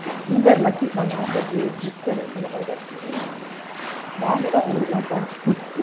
we are lucky நாங்க gifted உங்கள மாதுரி batch கேடைக்க நாங்க தான் உங்களுக்கு லாம் thanks சொல்லணும்